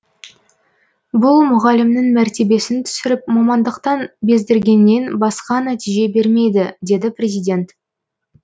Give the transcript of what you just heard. бұл мұғалімнің мәртебесін түсіріп мамандықтан бездіргеннен басқа нәтиже бермейді деді президент